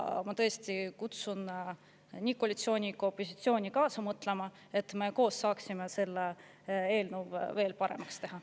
Ma tõesti kutsun nii koalitsiooni kui ka opositsiooni kaasa mõtlema, et koos seda eelnõu veel paremaks teha.